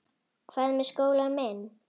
Hvað með skólann minn?